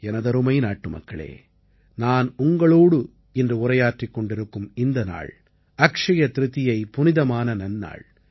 எனதருமை நாட்டுமக்களே நான் உங்களோடு இன்று உரையாற்றிக் கொண்டிருக்கும் இந்த நாள் அக்ஷய திரிதியை புனிதமான நன்னாள்